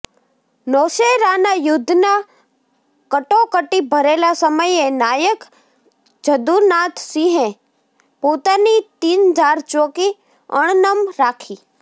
નૌશેરાના યુદ્ધના કટોકટી ભરેલા સમયે નાયક જદુનાથસિંહે પોતાની તીનધાર ચોકી અણનમ રાખી